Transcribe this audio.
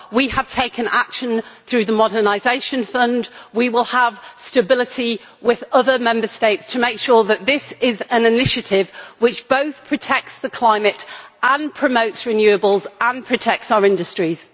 We have taken action through the Modernisation Fund, and we will have stability with other Member States to make sure that this is an initiative which both protects the climate and promotes renewables, and protects our industries.